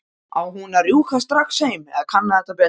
Á hún að rjúka strax heim eða kanna þetta betur?